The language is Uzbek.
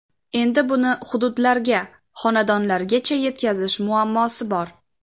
Endi buni hududlarga, xonadonlargacha yetkazish muammosi bor.